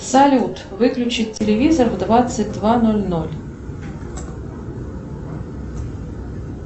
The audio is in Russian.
салют выключить телевизор в двадцать два ноль ноль